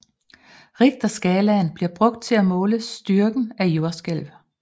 Richterskalaen bliver brugt til at måle styrken af jordskælv